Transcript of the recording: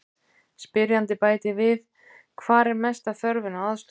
Spyrjandi bætir við: Hvar er mesta þörfin á aðstoð?